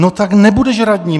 No, tak nebudeš radní.